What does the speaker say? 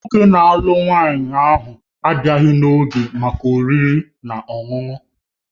Nwoke na-alụ nwanyị ọhụrụ abịaghị n'oge maka oriri na ọṅụṅụ